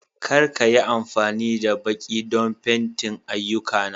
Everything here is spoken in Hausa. Kar ka yi amfani da baki don fenti ayyukana